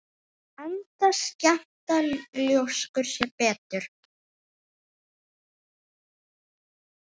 Enda skemmta ljóskur sér betur.